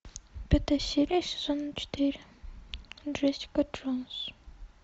пятая серия сезона четыре джессика джонс